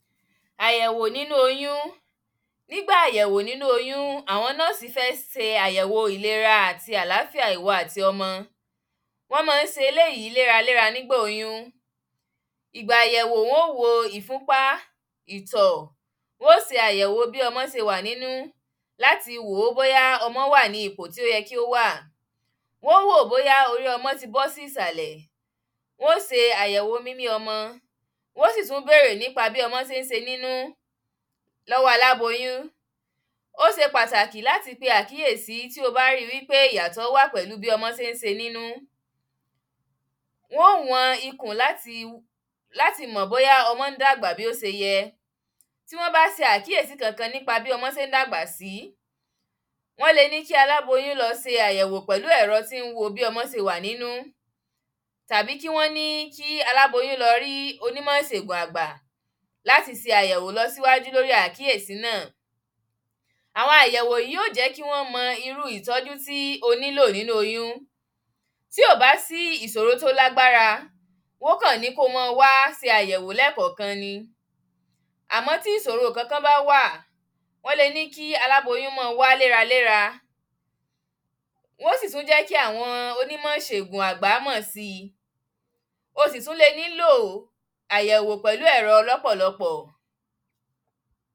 àyẹ̀wò nínú oyún nígba àyẹ̀wò nínú oyún, àwọn nọ́ọ̀sì fẹ́ se àyẹ̀wò ìlera tí àláfíà ìwọ àti ọmọ wọ́n máa ń se eléyìí léraléra nígbà oyún ìgbà àyẹ̀wò wọn ó wo ìfúnpa ìtọ̀ wọn ó se àyẹ̀wò bí ọmọ se wà nínú láti wò ó bóyá ọmọ wà ní ipò tó yẹ kí ó wà wọn ó wò ó bóyá orí ọmọ ti bọ́ sí ìsàlẹ̀ wọn ó se àyẹ̀wò mímí ọmọ wọn ó sì tún bèèrè nípa bí ọmọ se ń se nínú lọ́wọ́ aláboyún ó se pàtàkì láti pe àkíyèsí tí o bá rí i wípé ìyàtọ̀ wà pẹ̀lú bí ọmọ se ń se nínú wọn ó wọn ikùn láti láti mọ̀ bóyá ọmọ ń dàgbà bó se yẹ bí wọ́n bá se àkíyèsí kankan nípa bí ọmọ se ń dàgbà sí wọ́n le ní kí aláboyún lọ se àyẹ̀wò pẹ̀lú ẹ̀rọ tí ń wo bí ọmọ se wà nínú tàbí kí wọ́n ní kí aláboyún lọ rí onímọ̀ ìsègùn àgbà láti se àyẹ̀wò lọ síwájú lórí àkíyèsí náà àwọn àyẹ̀wò yìí yó jẹ́ kí wọ́n mọ irú ìtọ́jú tí o nílò nínú oyún tí ò bá sí ìsòrò tí ó lágbára wọn ó kàn ní kí o máa wá se àyẹ̀wò lẹ́ẹ̀kọ̀ọ̀kan ni àmọ́ tí ìsòro kankan bá wà wọ́n le ní kí aláboyún máa wá léraléra wọn ó sì tún jẹ́ kí àwọn onímọ̀ ìsègùn àgbà mọ̀ sí i o sì tún le nílò àyẹ̀wò pẹ̀lú ẹ̀rọ lọ́pọ̀lọpọ̀